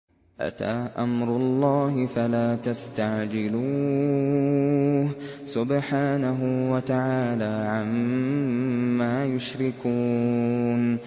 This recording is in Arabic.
أَتَىٰ أَمْرُ اللَّهِ فَلَا تَسْتَعْجِلُوهُ ۚ سُبْحَانَهُ وَتَعَالَىٰ عَمَّا يُشْرِكُونَ